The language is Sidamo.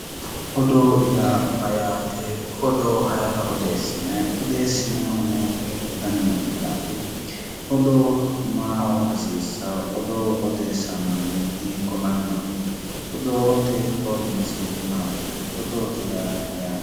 Odoo yaa mayyaate odoo ayera odeessinayi odoossenayhuno hiikko dani manniraati odoo maaho hasiisssao odoo odeessao manni hiikko mannaati odoote hornyise maati odoote yaa mayyaate